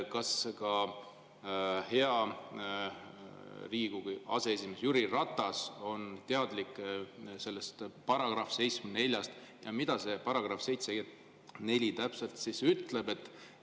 Kas ka hea Riigikogu aseesimees Jüri Ratas on teadlik sellest § 74-st ja mida see § 74 täpselt ütleb?